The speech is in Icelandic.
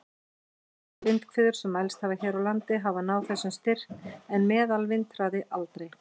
Öflugustu vindhviður sem mælst hafa hér á landi hafa náð þessum styrk, en meðalvindhraði aldrei.